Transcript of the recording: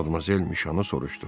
Madmazel Müşo soruşdu.